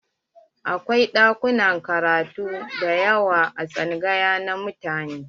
Akwai ɗakunan karatu dayawa a tsangaya na mutane.